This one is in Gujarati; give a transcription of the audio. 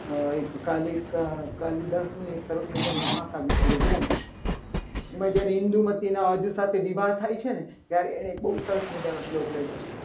એક કાલિદાસનું એક સરસ મજાનું મહાકાવ્ય છે. રઘુવંશ એમાં જ્યારે ઈંધુમતીના અર્ધ સાથે વિવાહ થાય છે. ને ત્યારે એને સરસ મજાનું શ્લોક લખ્યો છે.